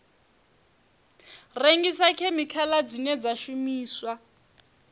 rengisa khemikhala dzine dza shumiswa